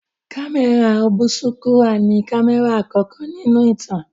Kámẹ́rà ọ̀bùsúkúrà ni kámẹ́rà àkọ́kọ́ nínú ìtàn